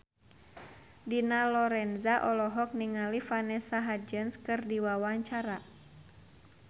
Dina Lorenza olohok ningali Vanessa Hudgens keur diwawancara